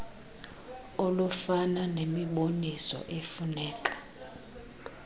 olufana nemiboniso efuneka